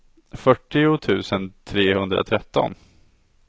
fyrtio tusen trehundratretton